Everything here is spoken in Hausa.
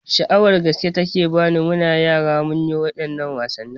Sha'awar gaske take bani, muna yara ma munyi waɗannan wasanni